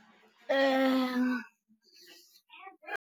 .